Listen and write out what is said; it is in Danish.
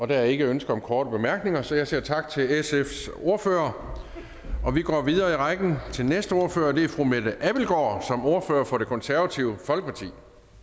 der er ikke ønske om korte bemærkninger så jeg siger tak til sfs ordfører og vi går videre i rækken til næste ordfører og det er fru mette abildgaard som ordfører for det konservative folkeparti